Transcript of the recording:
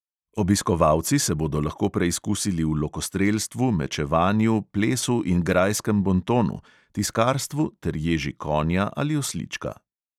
Obiskovalci se bodo lahko preizkusili v lokostrelstvu, mečevanju, plesu in grajskem bontonu, tiskarstvu ter ježi konja ali oslička.